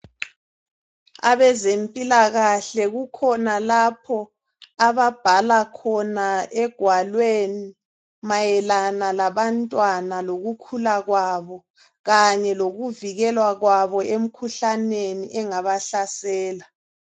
Abezempilakahle kukhona lapho ababhala khona egwalweni mayelana labantwana lokukhula kwabo kanye lokuvikelwa kwabo emikhuhlaneni engaba hlasela.